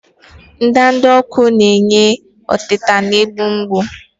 Ndanda ọkụ na-enye ọtita na-egbu mgbu.